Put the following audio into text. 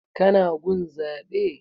Ka na gun zaɓe?